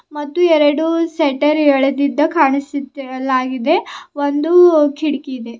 ಮತ್ತು ಎರಡು ಸೆಟ್ಟರ್ ಎಳದಿದ್ದ ಕಾಣಿಸುತ್ತಿರಲಾಗಿದೆ ಒಂದು ಕಿಡ್ಕಿದೆ.